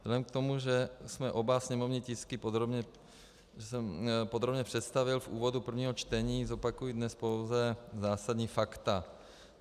Vzhledem k tomu, že jsem oba sněmovní tisky podrobně představil v úvodu prvního čtení, zopakuji dnes pouze základní fakta.